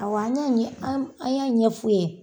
A wɔ an y'a ɲɛ fɔ.